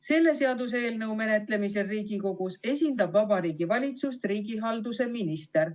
Selle seaduseelnõu menetlemisel Riigikogus esindab Vabariigi Valitsust riigihalduse minister.